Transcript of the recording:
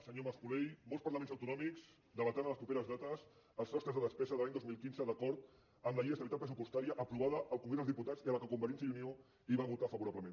senyor mas colell molts parlaments autonòmics debatran en les properes dates els sostres de despesa de l’any dos mil quinze d’acord amb la llei d’estabilitat pressupostària aprovada al congrés dels diputats i a què convergència i unió va votar favorablement